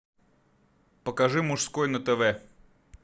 покажи мужской на тв